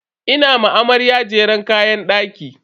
Ina ma amarya jeren kayan daki.